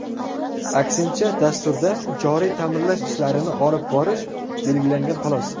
Aksincha, dasturda joriy ta’mirlash ishlarini olib borish belgilangan xolos.